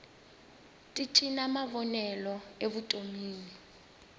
ti cinca mavonelo evutonwini